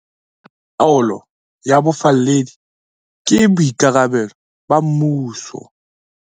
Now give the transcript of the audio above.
Taolo ya bofalledi ke boikarabelo ba mmuso.